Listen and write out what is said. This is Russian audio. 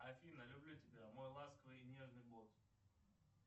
афина люблю тебя мой ласковый и нежный бот